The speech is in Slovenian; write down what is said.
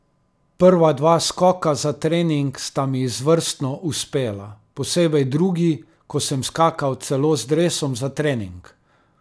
Prva dva skoka za trening sta mi izvrstno uspela, posebej drugi, ko sem skakal celo z dresom za trening.